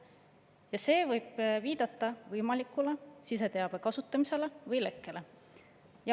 Ja see võib viidata võimalikule siseteabe kasutamisele või lekkele.